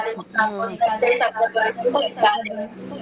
आप